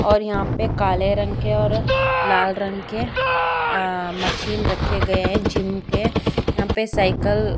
और यहाँ पे काले रंग के और लाल रंग के आ मशीन रखे गए है जिम के और यहाँ पे साइकिल --